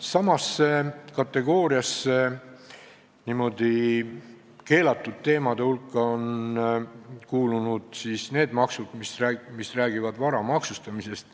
Samasse kategooriasse, niisuguste keelatud teemade hulka on kuulunud need maksud, mis räägivad vara maksustamisest.